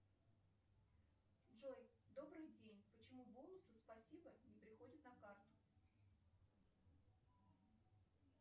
джой добрый день почему бонусы спасибо не приходят на карту